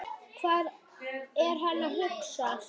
Hvað er hann að hugsa?